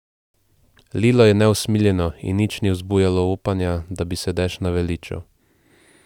Lilo je neusmiljeno in nič ni vzbujalo upanja, da bi se dež naveličal.